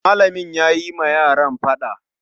Malamin yayi wa yaran faɗa